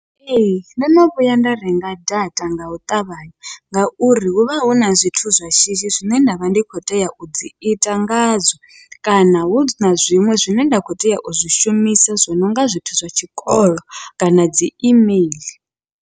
Ee, ndono vhuya nda renga data ngau ṱavhanya, ngauri huvha huna zwithu zwa shishi zwine ndavha ndi khou tea udzi ita ngadzo, kana huna zwiṅwe zwine nda kho tea uzwi shumisa zwi nonga zwithu zwa tshikolo kana dzi email.